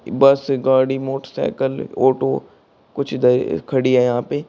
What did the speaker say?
बस गाड़ी motorcycle auto कुछ ध खड़ी है यहां पे।